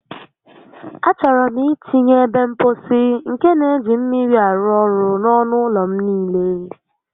A chọrọ m itinye ebe mposi nke n'eji mmiri arụ ọrụ n'ọnụ ụlọ m niile